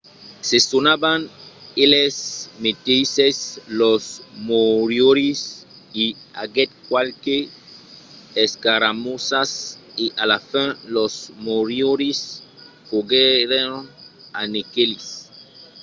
se sonavan eles meteisses los moriòris i aguèt qualques escaramossas e a la fin los moriòris foguèron anequelits